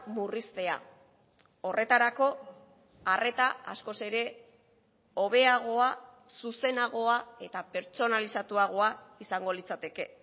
murriztea horretarako arreta askoz ere hobeagoa zuzenagoa eta pertsonalizatuagoa izango litzateke